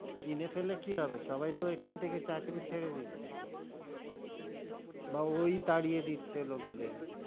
কিনে ফেললে কি হবে, সবাই তো এখান থেকে চাকরি ছেড়ে দিচ্ছে তো বা ওই তাড়িয়ে দিচ্ছে লোকে দরে,